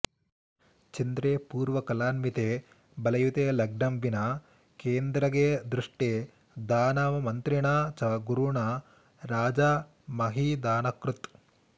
चन्द्रे पूर्णकलान्विते बलयुते लग्नं विना केन्द्रगे दृष्टे दानवमन्त्रिणा च गुरुणा राजा महीदानकृत्